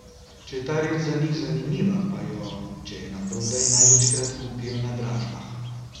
Če je ta reč za njih zanimiva, pa jo, če je naprodaj, največkrat kupijo na dražbah.